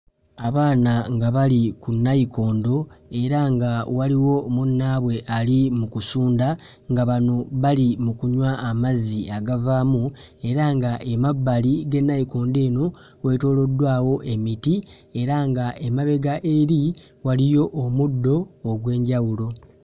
Abaana nga bali ku nnayikondo era nga waliwo munnaabwe ali mu kusunda nga bano bali mu kunywa amazzi agavaamu era ng'emabbali g'ennayikondo eno weetooloddwawo emiti era ng'emabega eri waliyo omuddo ogw'enjawulo.